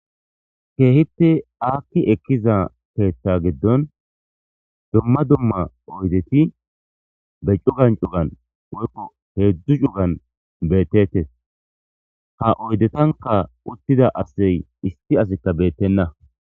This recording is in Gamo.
keehipte akki ekkiza keeththa giddon dumma dumma oydeti be cugan cugan woykko heedzdzu cugan beettetes ha oydetanka uttida asey isti asikka beettenna